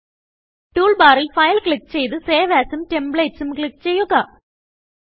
tool ബാറിൽ file click ചെയ്ത് save asഉം templatesഉം ക്ലിക്ക് ചെയ്യുക